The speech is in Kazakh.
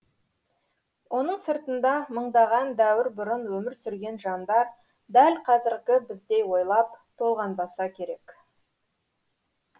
оның сыртында мыңдаған дәуір бұрын өмір сүрген жандар дәл қазіргі біздей ойлап толғанбаса керек